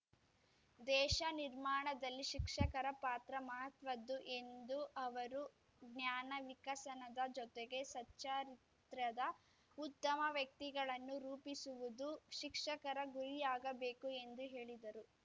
ದೇಶ ನಿರ್ಮಾಣದಲ್ಲಿ ಶಿಕ್ಷಕರ ಪಾತ್ರ ಮಹತ್ವದ್ದು ಎಂದು ಅವರು ಜ್ಞಾನ ವಿಕಸನದ ಜೊತೆಗೆ ಸಚ್ಚಾರಿತ್ರ್ಯದ ಉತ್ತಮ ವ್ಯಕ್ತಿಗಳನ್ನು ರೂಪಿಸುವುದು ಶಿಕ್ಷಕರ ಗುರಿಯಾಗಬೇಕು ಎಂದು ಹೇಳಿದರು